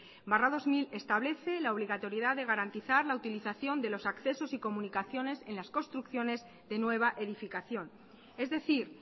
barra dos mil establece la obligatoriedad de garantizar la utilización de los accesos y comunicaciones en las construcciones de nueva edificación es decir